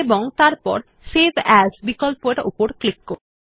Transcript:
এবং তারপর save as বিকল্পরের উপর ক্লিক করুন